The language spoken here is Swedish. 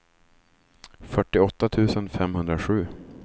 fyrtioåtta tusen femhundrasju